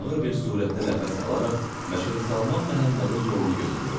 Ağır bir surətdə nəfəs alaraq Məşədi Salman Məhəmmədin yolunu gözləyirdi.